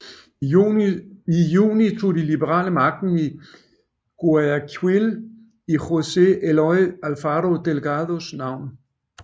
I juni tog de liberale magten i Guayaquil i José Eloy Alfaro Delgados navn